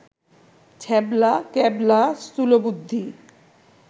ছ্যাবলা, ক্যাবলা, স্থূলবুদ্ধি